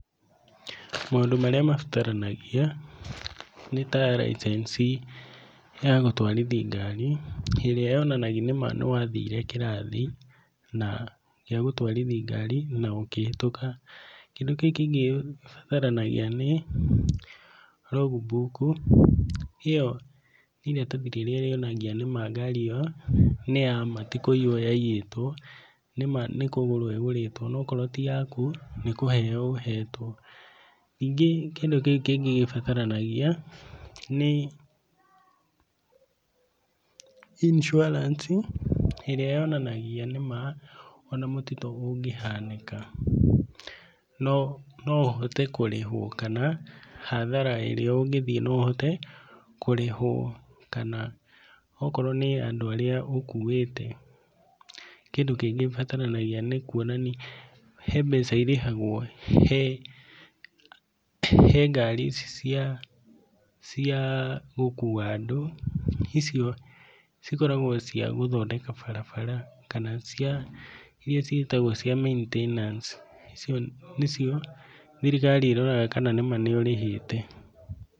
Maũndũ marĩa mabataranagia nĩ ta license ya gũtwarithia ngari ĩrĩa yonanagia nĩma nĩwathire kĩrathi gĩa gũtwarithi ngari na ũkĩhĩtũka. Kĩndũ kĩu kĩngĩ gĩbataranagia nĩ log book, ĩyo nĩ iratathi rĩrĩa rĩonagia nĩma ngari ĩyo nĩ ya ma ti kũiywo yaiyĩtwo, nĩ ma nĩ kũgũrwo ĩgũrĩtwo onokorwo ti yaku nĩ kũheo ũhetwo. Ningĩ kĩndũ kĩu kĩngĩ gĩbataranagia nĩ, insurance ĩrĩa yonanagia nĩma ona mũtino ũngĩhanĩka no no ũhote kũrĩhwo kana hathara ĩrĩa ũngĩthiĩ no ũhote kũrĩhwo kana okorwo nĩ andũ arĩa ũkuĩte. Kĩndũ kĩngĩ gĩbataranagia nĩ kuonania he mbeca irĩhagwo he he ngari ici cia cia gũkua andũ, icio cikoragwo cia gũthondeka barabara kana cia iria ciĩtagwo cia maintenance icio nĩcio thirikari ĩroraga kana nĩma nĩũrĩhĩte.